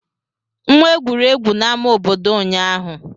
M egwuri egwu na ama obodo ụnyaahụ.